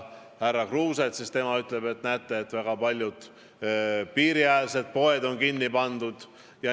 Härra Kruuse äsja ütles, et näete, väga paljud piiriäärsed poed on kinni pandud.